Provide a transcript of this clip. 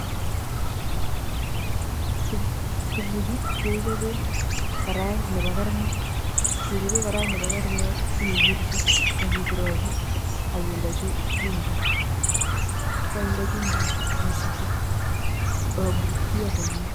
Tukuchu kechobee karait nebo karnet ngechobee karait nebo karnet ii wirchi ak ii kurakur ak indee chumbik ko kainde chumbik ii sutuu kokakorurio komie .